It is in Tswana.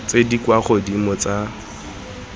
tse di kwa godimo tsa